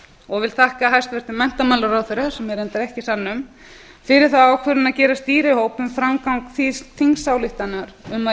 og vil þakka hæstvirtum menntamálaráðherra sem er reyndar ekki í salnum fyrir þá ákvörðun að gera stýrihóp um framgang þingsályktana um að